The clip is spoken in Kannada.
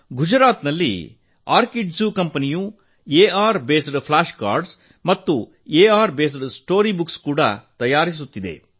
ಗುಜರಾತ್ ನಲ್ಲಿ ಆರ್ಕಿಡ್ಜೂ ಕಂಪೆನಿಯು ಎಆರ್ ಆಧಾರಿತ ಫ್ಲ್ಯಾಶ್ ಕಾರ್ಡ್ ಗಳು ಮತ್ತು ಎಆರ್ ಆಧಾರಿತ ಕತೆ ಪುಸಕ್ತಗಳನ್ನು ತಯಾರಿಸುತ್ತಿದೆ